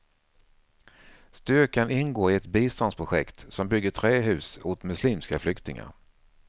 Styrkan ingår i ett biståndsprojekt som bygger trähus åt muslimska flyktingar.